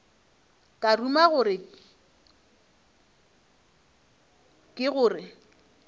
ka ruma gore ke gore